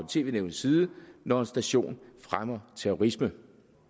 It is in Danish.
og tv nævnets side når en station fremmer terrorisme